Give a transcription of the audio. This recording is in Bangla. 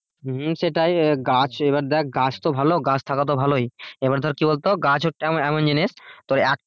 সেটাই গাছ এবার দেখ গাছ তো ভালো গাছ থাকা তো ভালোই এবার ধর কি বল তো গাছ এমন এমন জিনিস তোর একটা